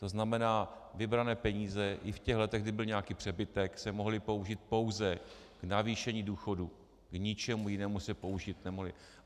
To znamená, vybrané peníze i v těch letech, kdy byl nějaký přebytek, se mohly použít pouze k navýšení důchodů, k ničemu jinému se použít nemohly.